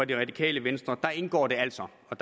det radikale venstre indgår det altså og